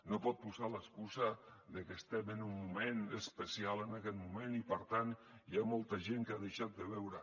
no pot posar l’excusa de que estem en un moment especial en aquest moment i per tant hi ha molta gent que ha deixat de veure